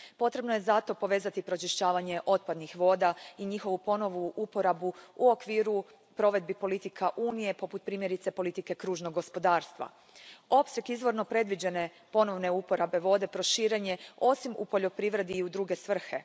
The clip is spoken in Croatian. Potrebno je zato povezati pročišćavanje otpadnih voda i njihovu ponovnu uporabu u okviru provedbi politika Unije, poput primjerice politike kružnog gospodarstva. Opseg izvorno predviđene ponovne uporabe vode proširen je, osim u poljoprivredi, i u druge svrhe.